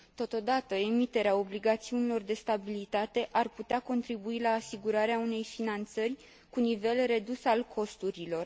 Totodată, emiterea obligațiunilor de stabilitate ar putea contribui la asigurarea unei finanțări cu un nivel redus al costurilor.